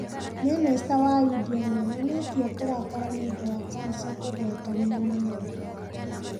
Minista wa India nionanitie kurakara niundũ wa cancer kugwetanio na mehia.